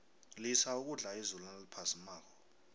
lisa ukudla izulu naliphazimako